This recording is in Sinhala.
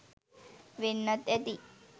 වෙන්නත් ඇති.